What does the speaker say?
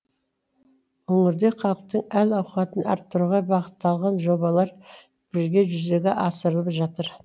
өңірде халықтың әл ауқатын арттыруға бағытталған жобалар бірге жүзеге асырылып жатыр